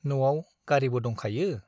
न' आव गारीबो दंखायो ?